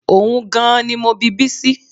Ohun gan-an ni mo bi Bísí